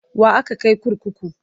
Wa aka kai kurkuku?